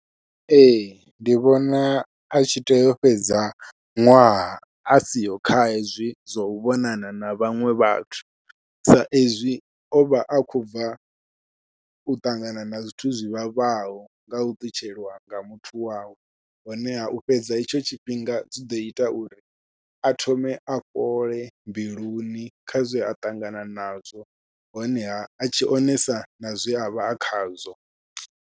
Ee ndi vhona a tshi tea u fhedza ṅwaha a siho kha hezwi zwau vhonana na vhaṅwe vhathu, sa ezwi o vha a khou bva u ṱangana na zwithu zwivhavhaho ngau ṱutshelwa nga muthu wawe, honeha u fhedza itsho tshifhinga zwi ḓo ita uri a thome a fhole mbiluni kha zwe a ṱangana nazwo honeha a tshi onesa na zwe avha a khazwo.